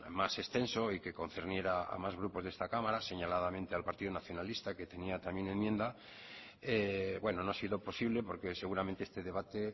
más extenso y que concerniera a más grupos de esta cámara señaladamente al partido nacionalista que tenía también enmienda no ha sido posible porque seguramente este debate